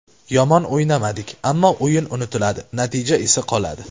Yomon o‘ynamadik, ammo o‘yin unutiladi, natija esa qoladi.